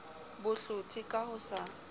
bo hlothe ka ho sa